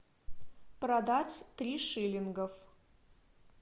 продать три шиллинга